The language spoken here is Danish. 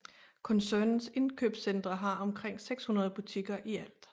Koncernens indkøbscentre har omkring 600 butikker i alt